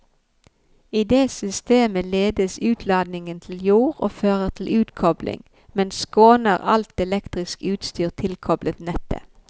I det systemet ledes utladning til jord og fører til utkobling, men skåner alt elektrisk utstyr tilkoblet nettet.